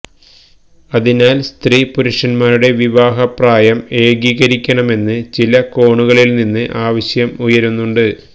അതിനാൽ സ്ത്രീപുരുഷന്മാരുടെ വിവാഹപ്രായം ഏകീകരിക്കണമെന്ന് ചില കോണുകളിൽ നിന്ന് ആവശ്യം ഉയരുന്നുണ്ട്